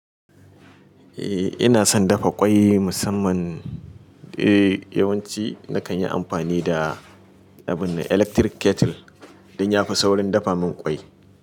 Eh ina son dafa ƙwai musamman, eh yawanci nakan yi amfani da abun electric kettle don ya fi saurin dafa min ƙwai.